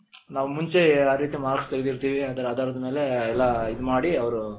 ನಾವು ಮುಂಚೆ ಯಾವ್ ರೀತಿ marks ತೆಗ್ದಿರ್ತೀವಿ ಅದರ ಆದಾರದ್ಮೇಲೆ ಎಲ್ಲಾ ಇದು ಮಾಡಿ ಅವರು,